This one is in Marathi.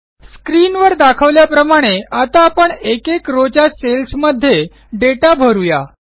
स्क्रीनवर दर्शवल्याप्रमाणे आता आपण एकेक रॉव च्या सेल्स मध्ये दाता भरू या